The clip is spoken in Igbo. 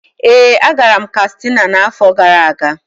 Ee, agara m Katsina n'afọ gara aga.